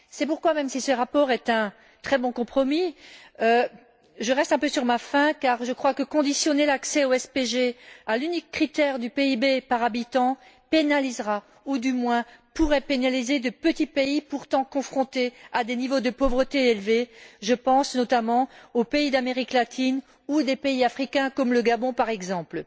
C'est pourquoi, même si ce rapport est un très bon compromis, je reste un peu sur ma faim car je crois que conditionner l'accès au SPG à l'unique critère du PIB par habitant pénalisera, ou du moins pourrait pénaliser, de petits pays pourtant confrontés à des niveaux de pauvreté élevés je pense notamment aux pays d'Amérique latine ou à des pays africains comme le Gabon, par exemple.